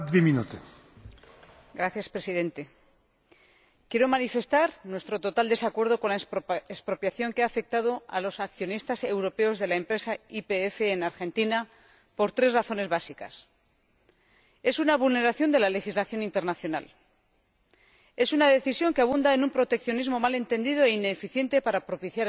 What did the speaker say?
Señor Presidente, quiero manifestar nuestro total desacuerdo con la expropiación que ha afectado a los accionistas europeos de la empresa YPF en Argentina por tres razones básicas es una vulneración de la legislación internacional, es una decisión que abunda en un proteccionismo mal entendido e ineficiente para propiciar el desarrollo